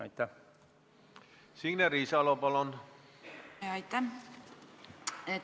Aitäh!